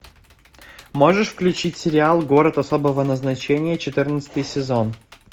можешь включить сериал город особого назначения четырнадцатый сезон